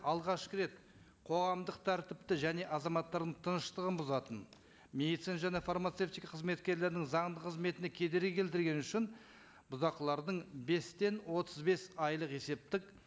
алғашқы рет қоғамдық тәртіпті және азаматтардың тыныштығын бұзатын медицина және фармацевтика қызметкерлерінің заңды қызметіне кедергі келтіргені үшін бұзақылардың бестен отыз бес айлық есептік